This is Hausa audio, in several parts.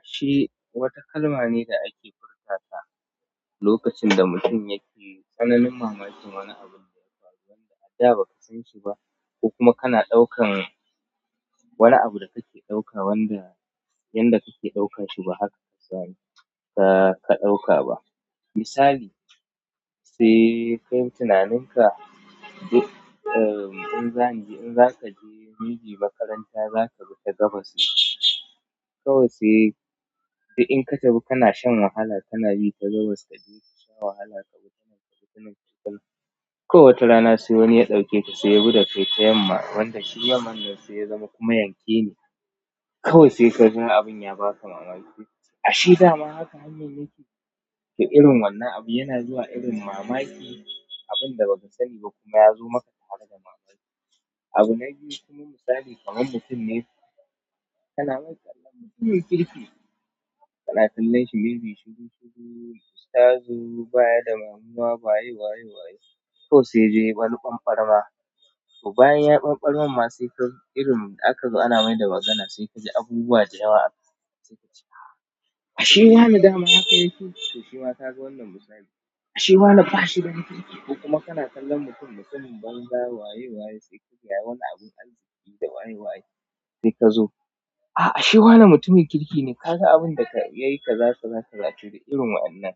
Ashe wata kalma ne da ake furta ta lokacin da mutum yake tsananin mamakin wani abun da ya faru wanda a da ba ka san shi ba, ko kuma kana ɗaukan wani abu da kake ɗauka wanda yanda kake ɗaukan shi ba haka ka sani ka, ka ɗauka ba. Misali, sai ka yi tunaninka duk, uhm, in zan je, in zaka je, maybe makaranta zaka bi ta gabas ne. Kawai sai duk in ka tafi kana shan wahala kana bi ta gabas kaje kasha wahala ka bi ta nan ka bi tanan ka bi tanan. Kawai wata rana sai wani ya ɗauke ka sai ya bi da kai tayamma wanda shi yamman nan sai ya zama kuma yankene. Kawai sai ka ga abin ya baka mamaki, ashe dama haka hannun yake. To irin wannan abu yana zuwa irin mamaki abun da ba ka sani ba kuma ya zo maka tare da mamaki. Abu na biyu kuma misali kamar mutum ne, kana mai kallon mutumin kirki, kana kallon shi maybe shiru shiru, ustazu baya da damuwa waye waye waye, kawai sai yaje yayi banbarama. To bayan ya ɓanɓarmar ma sai ka irin aka zo ana mai da magana sai kaji abubuwa da yawa akan sa, sai kace ah! Ashe wane dama haka yake. To shi ma ka ga wannan misali. Ashe wa ne ba shi da mutunci ko kuma kana kallon mutum mutumin banza waye waye sai ka ga wani abun arziki da waye waye sai ka zo, a'a ashe wa ne mutumin kirki ne. Kaga abun da ya yi kaza kaza to da irin wa'innan.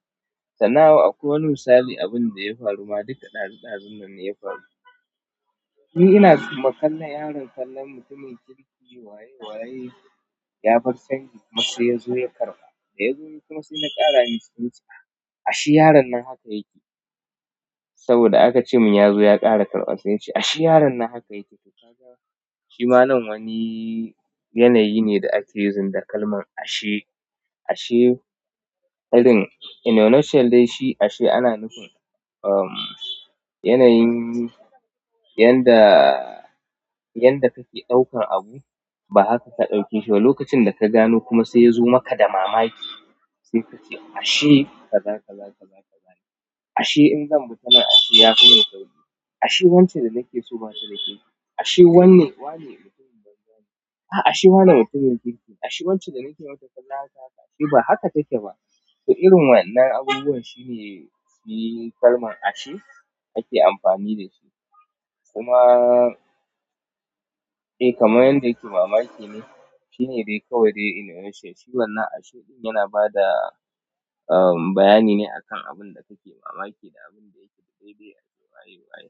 Sannan akwai wani misali abun da ya faru ma duka ɗazu ɗazu nan ne ya faru. Ni ina kalla yaron kallon mutumin kirki waye waye ya bar canji kuma sai ya zo ya karɓa. Da ya zo kuma sai na ƙara in ce nace ah ashe yaron nan haka yake. Saboda aka ce mun ya zo ya ƙara karɓa sai na ce ashe yaron nan haka yake. To kaga shi ma nan wani yanayi ne da ake yin da kalman ashe. Ashe barin, ashe ana nufin ummm yanayin yanda yanda kake ɗaukan abu ba haka ka ɗauke shi ba. Lokacin da ka gano kuma sai ya zo maka da mamaki sai kace ashe kaza kaza kaza kaza. Ashe in zan bi ta nan ashe ya fi min sauri. Ashe wance danake so batada kirki ashe wane mutumin banza ne a'a ashe wa ne mutumin kirki. Ashe wance da nake masa kallon haka haka. Ashe ba haka take ba. To irin wa'innan abubuwan shi ne, shi kalman ashe ake amfani da shi. Kuma, eh kamar yadda yake mamaki ne. Shi ne dai kawai dai inuitional. Shi wannan ashe ɗin yana ba da, uhm, bayani ne akan abun da kake mamaki da abun da yake daidai a ce waye waye.